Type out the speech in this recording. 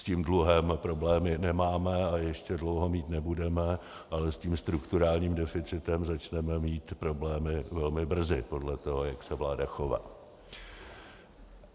S tím dluhem problémy nemáme a ještě dlouho mít nebudeme, ale s tím strukturálním deficitem začneme mít problémy velmi brzy podle toho, jak se vláda chová.